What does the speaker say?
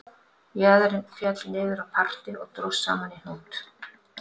Jaðarinn féll niður á parti og dróst saman í hnút